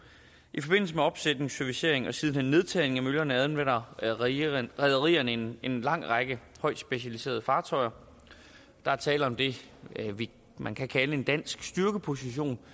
i forbindelse med opsætning servicering og siden hen nedtagning af møllerne anvender rederierne rederierne en lang række højtspecialiserede fartøjer der er tale om det man kan kalde en dansk styrkeposition